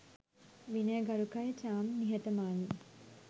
විනය ගරුකයි චාම් නිහතමානියි